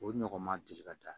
O ɲɔgɔn ma deli ka taa